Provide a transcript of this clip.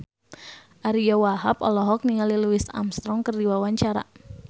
Ariyo Wahab olohok ningali Louis Armstrong keur diwawancara